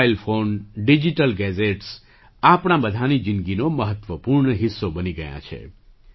mobile phone digital gadgets આપણા બધાંની જિંદગીનો મહત્ત્વપૂર્ણ હિસ્સો બની ગયાં છે